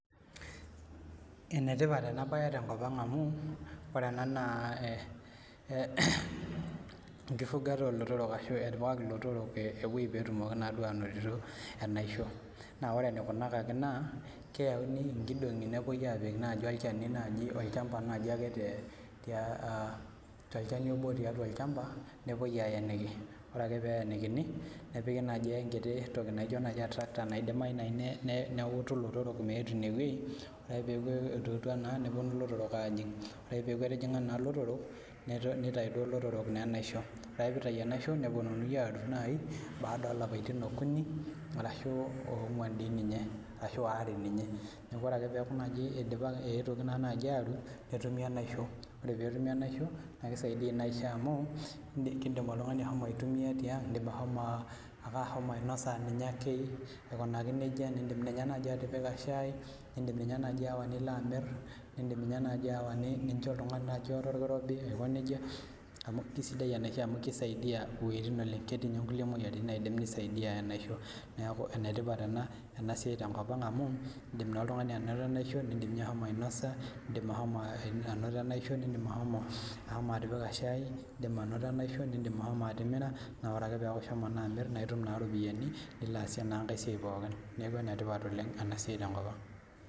Enetipat enabae tenkop aang amu ore ena na enkifugata olotorok ashu etipikaki lotorok ewoi petumoki ainoto enaisho na ore enikunakaki na keyawuaki nkidongi neponui apik olchani olchamba nai ake nepuoi aeniki nepiki enkiti toki naijo atraka naidim atuutu lotorok meetu inewueji ore peaku etijinga lotorok nitau enaisho neponunui atur baada olapaitin okuni ashu onguan neaky ore peaku eetuoki atur netumi enaisho na ore petumi enaisho indim oltungani ashomo aitumia tiang ashomo ainosa. Indim atipika shai indim ayawa nilo amir kisidai enaisho amu kisaidia oleng ketii nye nkulie moyiaritin naidim enaisho aisaidia neaku enetipat enatoki amu indik oltungani ainoto enaisho nindim ashomo ainosa nindim ashomo atimira na itum iropiyiani nilo aasie enasia pokkj